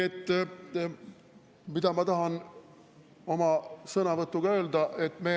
Mida ma tahan oma sõnavõtuga öelda?